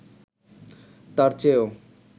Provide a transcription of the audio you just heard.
তার চেয়েও